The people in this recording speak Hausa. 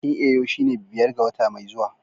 Bikin Eyo shine biyar ga wata mai zuwa